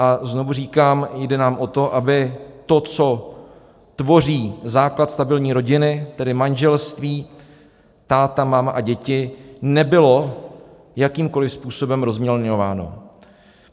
A znovu říkám, jde nám o to, aby to, co tvoří základ stabilní rodiny, tedy manželství - táta, máma a děti, nebylo jakýmkoli způsobem rozmělňováno.